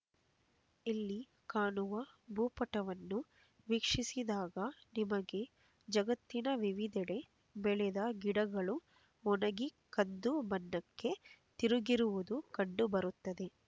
ಇಲ್ಲಿ ಕಾಣುವ ಭೂಪಟವನ್ನು ವೀಕ್ಷಿಸಿದಾಗ ನಿಮಗೆ ಜಗತ್ತಿನ ವಿವಿಧೆಡೆ ಬೆಳೆದ ಗಿಡಗಳು ಒಣಗಿ ಕಂದು ಬಣ್ಣಕ್ಕೆ ತಿರುಗಿರುವುದು ಕಂಡು ಬರುತ್ತದೆ